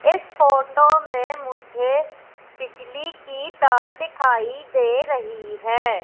इस फोटो में मुझे बिजली की तार दिखाई दे रही है।